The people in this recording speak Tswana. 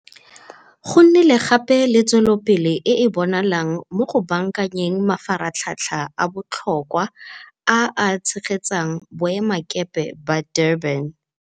Go nnile gape le tswelopele e e bonalang mo go baakanyeng mafaratlhatlha a botlhokwa a a tshegetsang Boemakepe ba Durban.